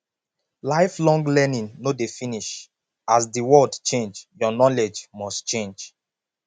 lifelong learning no dey finish as the world change your knowledge must change